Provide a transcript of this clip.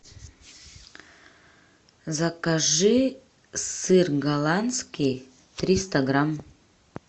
закажи сыр голландский триста грамм